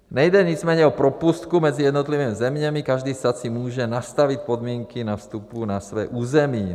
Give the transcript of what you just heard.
Nejde nicméně o propustku mezi jednotlivými zeměmi, každý stát si může nastavit podmínky na vstupu na své území.